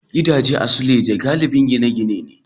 Gidaje a suleja galibin gine-gine ne.